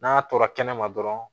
N'a tora kɛnɛma dɔrɔn